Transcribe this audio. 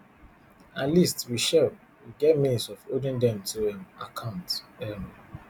at least wit shell we get means of holding dem to um account um